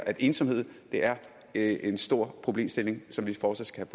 at ensomhed er en stor problemstilling som vi fortsat